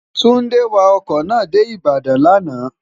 túndé wa ọkọ̀ náà dé ìbàdàn lánàá